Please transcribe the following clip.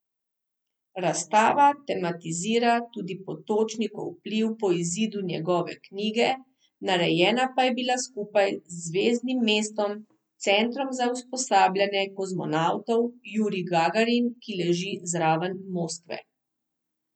Razstava tematizira tudi Potočnikov vpliv po izidu njegove knjige, narejena pa je bila skupaj s Zvezdnim mestom, centrom za usposabljanje kozmonavtov Jurij Gagarin, ki leži zraven Moskve.